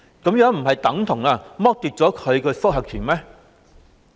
這樣不是等同剝奪他的覆核權嗎？